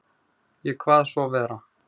Ég kvað svo vera.